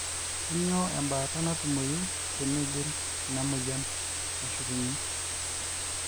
kanyio embaata natumoyu teniigil ina noyian ashukunye